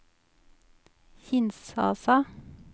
Kinshasa